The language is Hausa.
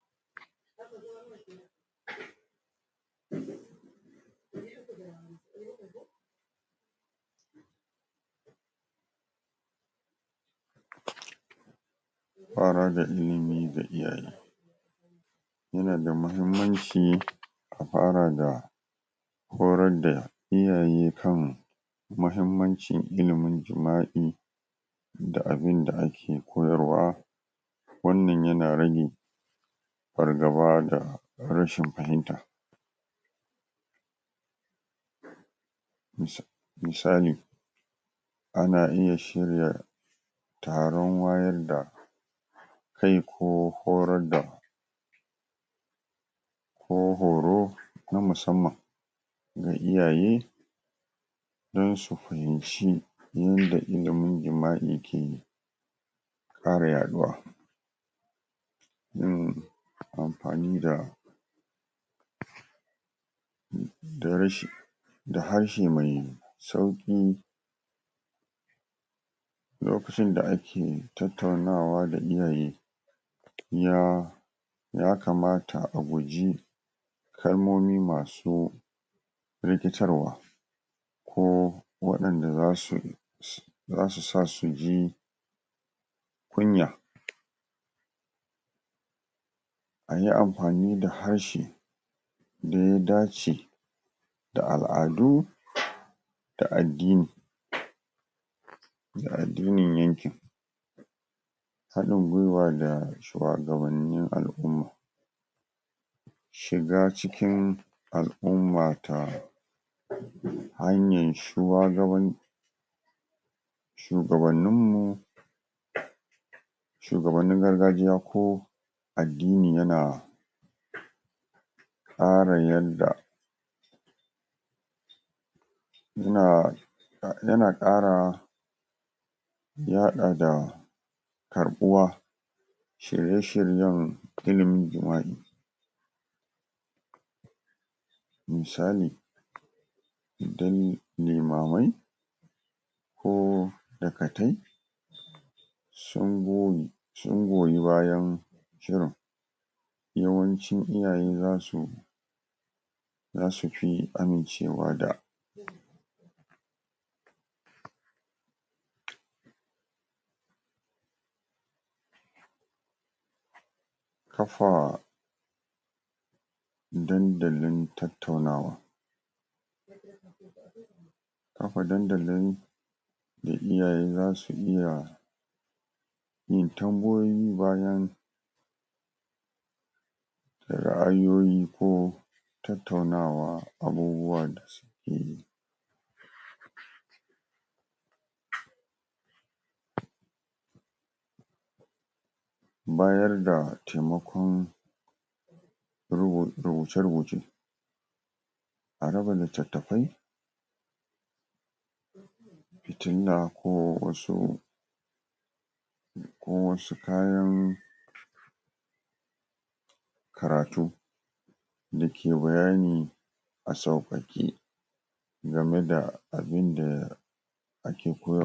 Fa rar da ilimi ga iyaye yana da muhimmanci a fara da horar da iyaye kan mahimmancin ilimin jima'i da abinda ake koyarwa wannan yana rage fargaba da rashin fahinta mis misali ana iya shirya taron wayar da kai ko horar da ko horo na musamman ga iyaye don su fahimci yanda ilimin jima'i ke ƙara yaɗuwa yin amfani da da rashi da harshe mai sauƙi lokacin da ake tattaunawa da iyaye ya ya kamata a guji kalmomi masu rikitarwa ko wadanda zasu su zasu sa suji kunya. Ayi amfani da harshe da ya dace da al'adu da addini., da addinin yankin haɗin gwiwa da shuwagabannin al'umma, shiga cikin al'umma ta hanyan shuwagaban shugabanninmu, shugabannin gargajiya ko adddini yana ƙara yadda yana yana ƙara yaɗa da ƙarɓuwa shirye-shiryen ilimin jima'i misali idan limamai ko dakatai sun goyi sun goyi bayan shirin yawancin iyaye zasu zasu fi amincewa da kafa dandalin tattaunawa kafa dandalin da iyaye zasu iya yin tambayoyi bayan da ra'ayoyi ko tattaunawa abubuwa da suke yi bayarda temakon rubu rubuce-rubuce a raba litattafai, fitilla ko wasu ko wasu kayan karatu da ke bayani a saukake game da abinda ake koyar